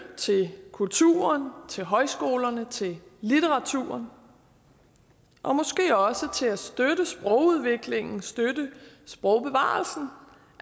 til kulturen til højskolerne til litteraturen og måske også sprogudviklingen støtte sprogbevarelsen